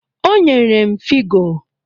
O nyere m figo